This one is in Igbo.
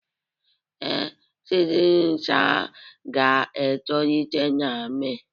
Ee, seedlings ga-etolite na Mee